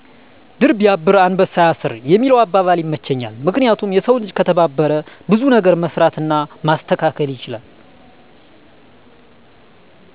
"ድር ቢያብር አንበሳ ያስር" የሚለው አባባል ይመቸኛል። ምክንያቱም የሰው ልጅ ከተተባበረ ብዙ ነገር መስራት እና ማስተካከል ይችላል።